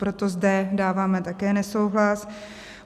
Proto zde dáváme také nesouhlas.